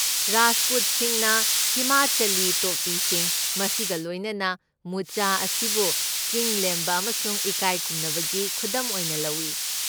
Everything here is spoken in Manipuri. ꯔꯥꯖꯄꯨꯠꯁꯤꯡꯅ ꯍꯤꯃꯥꯆꯂꯤ ꯇꯣꯄꯤꯁꯤꯡ, ꯃꯁꯤꯒ ꯂꯣꯏꯅꯅ ꯃꯨꯆ, ꯑꯁꯤꯕꯨ ꯆꯤꯡꯂꯦꯝꯕ ꯑꯃꯁꯨꯡ ꯏꯀꯥꯏꯈꯨꯝꯅꯕꯒꯤ ꯈꯨꯗꯝ ꯑꯣꯏꯅ ꯂꯧꯏ꯫